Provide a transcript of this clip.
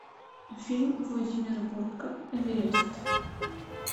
фильм владимира бортко эверест